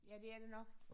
Ja det er det nok